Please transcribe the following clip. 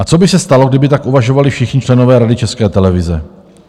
A co by se stalo, kdyby tak uvažovali všichni členové Rady České televize?